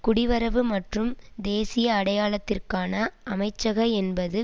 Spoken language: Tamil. குடிவரவு மற்றும் தேசிய அடையாளத்திற்கான அமைச்சகம் என்பது